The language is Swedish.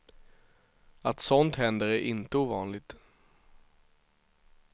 Att sådant händer är inte ovanligt.